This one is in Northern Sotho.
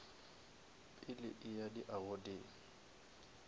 pele a eya di awardeng